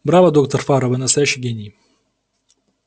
браво доктор фара вы настоящий гений